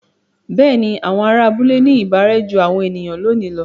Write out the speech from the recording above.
Bẹ́ẹ̀ni, àwọn ará abúlé ní ìbárẹ́ jú àwọn ènìyàn lónìí lọ.